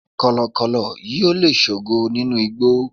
kọlọkọlọ yíò le sogo ninu igbó